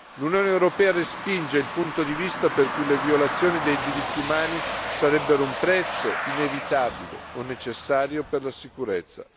L'Unione europea respinge il punto di vista per cui le violazioni dei diritti umani sarebbero un prezzo inevitabile o necessario per la sicurezza.